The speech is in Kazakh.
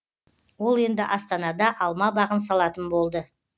ол енді астанада алма бағын салатын болды